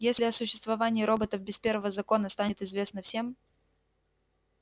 если о существовании роботов без первого закона станет известно всем